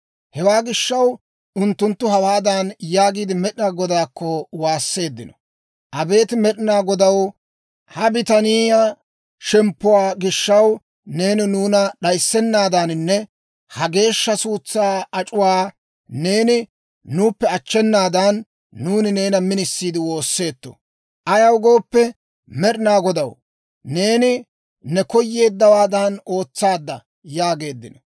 Hewaa gishaw, unttunttu hawaadan yaagiide, Med'inaa Godaakko waasseeddino; «Abeet Med'inaa Godaw, ha bitaniyaa shemppuwaa gishaw, neeni nuuna d'ayssennaadaaninne ha geeshsha suutsaa ac'uwaa neeni nuuppe achchenaadan, nuuni neena minisiidde woosseetto. Ayaw gooppe, Med'inaa Godaw, neeni ne koyyowaadan ootsaadda» yaageeddino.